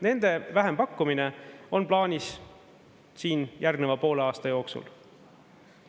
Nende vähempakkumine on plaanis järgneva poole aasta jooksul.